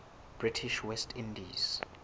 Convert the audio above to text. british west indies